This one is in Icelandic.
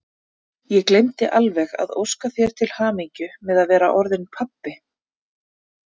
Ég gleymdi alveg að óska þér til hamingju með að vera orðinn pabbi!